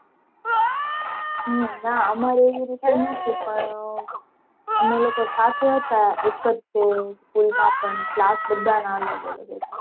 હમ ના અમારે એવી રીતે નહોતી પણ અમે લોકો સાથે હતા એક જ તે school માં પણ class બધા ના અલગ અલગ હતા.